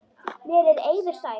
Mér er eiður sær.